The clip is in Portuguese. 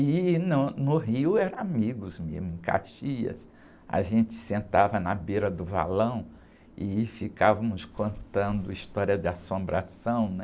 E no Rio eram amigos mesmo, em Caxias, a gente sentava na beira do valão e ficávamos contando história de assombração, né?